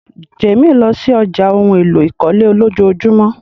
Jamie lọ sí ọ̀já ohun èlò ìkọ́lé lọjọjumọ.